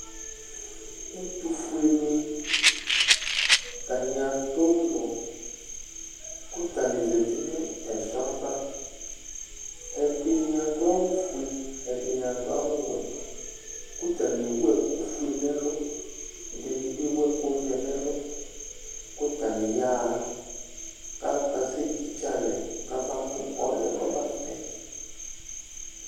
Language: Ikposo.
Ɛtʋfueni, atani ad'ʋlɔ kʋ atani zati nʋ ɛsɔ ava Ɛdini adʋ awʋ fue, ɛdini adʋ awʋ wɛ k'atani ewu ɛkʋ fue n'ɛlʋ, ɛdini bi ewu ɛkʋ vɛ n'ɛlʋ kʋ atani ya ha, k'akasɛtitse alɛ k'abamʋ ɔlʋ yɛ k'ɔmatɛ